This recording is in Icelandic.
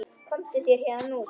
Komdu þér héðan út.